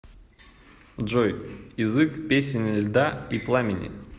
джой язык песнь льда и пламени